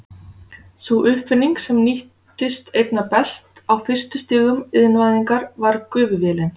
Sú uppfinning sem nýttist einna best á fyrstu stigum iðnvæðingar var gufuvélin.